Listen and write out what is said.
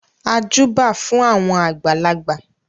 A júbà fún àwọn àgbàlagbà.